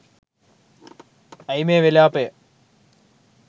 ඈයි මේ විලාපය